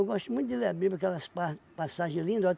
Eu gosto muito de ler a Bíblia, aquelas par passagens lindas.